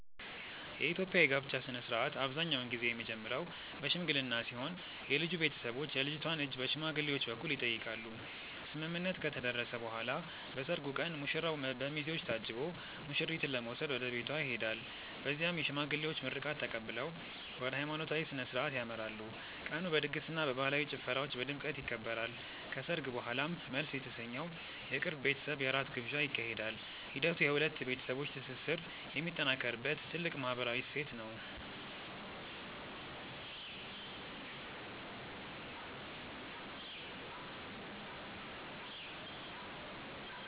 የኢትዮጵያ የጋብቻ ሥነ ሥርዓት አብዛኛውን ጊዜ የሚጀምረው በሽምግልና ሲሆን የልጁ ቤተሰቦች የልጅቷን እጅ በሽማግሌዎች በኩል ይጠይቃሉ። ስምምነት ከተደረሰ በኋላ በሰርጉ ቀን ሙሽራው በሚዜዎች ታጅቦ ሙሽሪትን ለመውሰድ ወደ ቤቷ ይሄዳል። በዚያም የሽማግሌዎች ምርቃት ተቀብለው ወደ ሃይማኖታዊ ሥነ ሥርዓት ያመራሉ። ቀኑ በድግስና በባህላዊ ጭፈራዎች በድምቀት ይከበራል። ከሰርግ በኋላም መልስ የተሰኘው የቅርብ ቤተሰብ የራት ግብዣ ይካሄዳል። ሂደቱ የሁለት ቤተሰቦች ትስስር የሚጠናከርበት ትልቅ ማህበራዊ እሴት ነው።